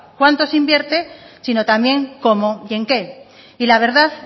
cuánto se invierte sino también cómo y en qué y la verdad